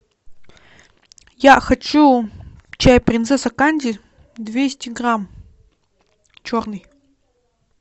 я хочу чай принцесса канди двести грамм черный